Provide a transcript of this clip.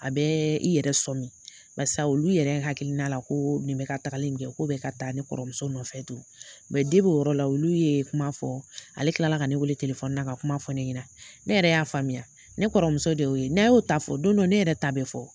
A bɛɛ i yɛrɛ sɔn do barisa olu yɛrɛ hakilina la koo nin bɛ ka tagali min kɛ, k'o bɛ ka taa ne kɔrɔmuso nɔfɛ tun o yɔrɔ la olu ye kuma fɔ, ale tilala ka ne weele na k'a kuma fɔ ne ɲɛna. Ne yɛrɛ y'a faamuya. Ne kɔrɔmuso de y'o ye. N'a' y'o ta fɔ, don do ne yɛrɛ ta bɛ fɔ.